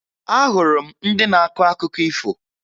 Ahụrụ m ndị na-akọ akụkọ ifo